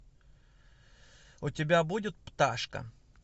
у тебя будет пташка